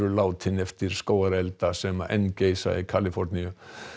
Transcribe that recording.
látin eftir skógareldana sem enn geisa í Kaliforníu